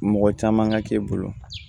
Mɔgɔ caman ka kɛ e bolo